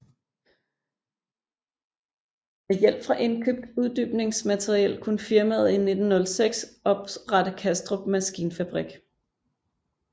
Med hjælp fra indkøbt uddybningsmateriel kunne firmaet i 1906 oprette Kastrup Maskinfabrik